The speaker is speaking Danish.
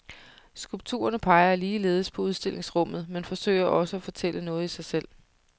Skulpturerne peger ligeledes på udstillingsrummet, men forsøger også at fortælle noget i sig selv.